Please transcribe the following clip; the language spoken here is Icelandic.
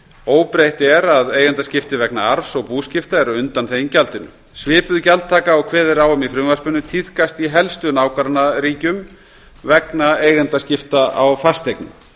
óbreytt er að eigendaskipti vegna arfs og búskipta eru undanþegin gjaldinu svipuð gjaldtaka og kveðið er á um í frumvarpinu tíðkast í helstu nágrannaríkjum vegna eigendaskipta á fasteignum